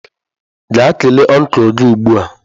Gaa kelee ọncụl gị ugbu a!